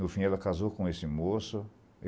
No fim, ela casou com esse moço.